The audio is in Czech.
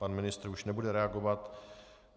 Pan ministr už nebude reagovat.